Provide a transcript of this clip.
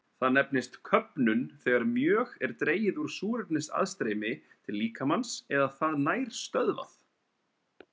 Það nefnist köfnun þegar mjög er dregið úr súrefnisaðstreymi til líkamans eða það nær stöðvað.